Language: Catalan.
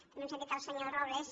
també hem sen·tit el senyor robles